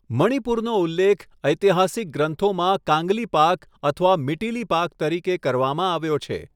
મણિપુરનો ઉલ્લેખ ઐતિહાસિક ગ્રંથોમાં કાંગલીપાક અથવા મીટીલીપાક તરીકે કરવામાં આવ્યો છે.